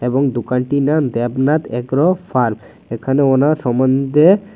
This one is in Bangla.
এবং দোকানটির নাম দ্যাবনাথ এগ্রো ফার্ম এখানে ওনার সম্বন্ধে--।